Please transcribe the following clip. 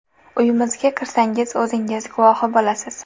Uyimizga kirsangiz, o‘zingiz guvohi bo‘lasiz.